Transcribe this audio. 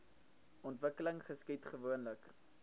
ontwikkeling geskied gewoonlik